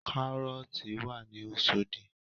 Kárọ́ọ̀tì wà ní Oṣòdì